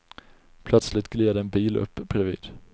Plötsligt gled en bil upp bredvid.